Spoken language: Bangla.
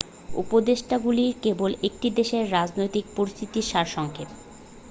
উপদেষ্টাগুলি কেবল একটি দেশের রাজনৈতিক পরিস্থিতির সারসংক্ষেপ